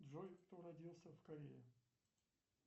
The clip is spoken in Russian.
джой кто родился в корее